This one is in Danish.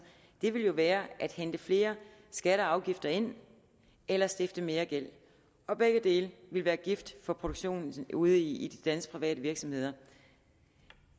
ville jo være at hente flere skatter og afgifter ind eller stifte mere gæld og begge dele ville være gift for produktionen ude i de danske private virksomheder